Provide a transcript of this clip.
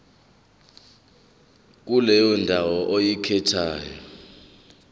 kuleyo ndawo oyikhethayo